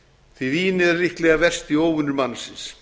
því að vínið er líklega versti óvinur mannsins